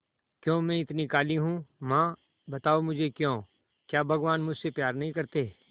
क्यों मैं इतनी काली हूं मां बताओ मुझे क्यों क्या भगवान मुझसे प्यार नहीं करते